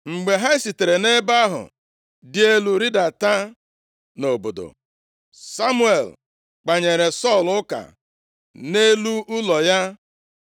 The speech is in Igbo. Mgbe ha sitere nʼebe ahụ dị elu rịdata nʼobodo. Samuel kpanyere Sọl ụka nʼelu ụlọ ya.